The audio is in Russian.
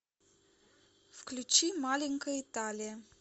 включи маленькая италия